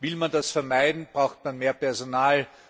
Will man das vermeiden, braucht man mehr Personal.